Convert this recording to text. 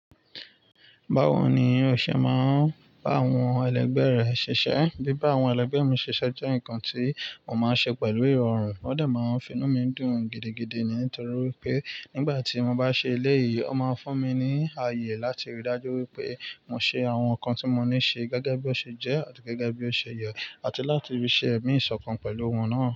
Báwo ni ọṣẹ máa ń bá àwọn ẹlẹgbẹ́ rẹ̀ ṣiṣẹ́? Bíbá àwọn ẹlẹgbẹ́ mi ṣiṣẹ́ jẹ́ nǹkan tí mo máa ń ṣe pẹ̀lú ìrọ̀rùn. Ó dà máa ń fi inú mi dùn gidigidi ni nítorí pé nígbà tí mo bá ṣe eléyìí, ó máa ń fún mi ní àyè láti rí dájú wípé mo ṣe àwọn nǹkan tí mo ní ṣe gẹ́gẹ́ bí ó ṣe jẹ́ àti gẹ́gẹ́ bí ó ṣe yẹ àti láti rí ṣe ẹ̀mí ìṣọ̀kan pẹ̀lú wọ́n náà.